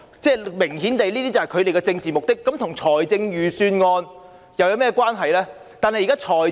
這明顯是他們的政治目的，這跟預算案有甚麼關係呢？